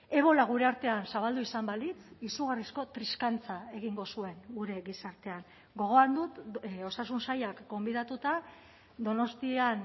ebola gure artean zabaldu izan balitz izugarrizko triskantza egingo zuen gure gizartean gogoan dut osasun sailak gonbidatuta donostian